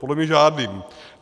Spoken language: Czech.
Podle mě žádným.